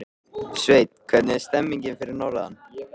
Sveinn, hvernig er stemningin fyrir norðan?